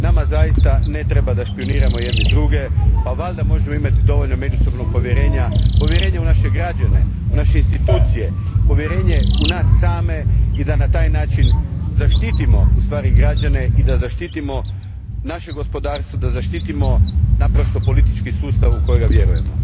Nama zaista ne treba da špijuniramo jedni druge, pa valjda možemo imati dovoljno međusobnog povjerenja, povjerenja u naše građane, u naše institucije, povjerenja u nas same i da na taj način zaštitimo ustvari građane i da zaštitimo naše gospodarstvo, da zaštitimo naprosto politički sustav u kojega vjerujemo.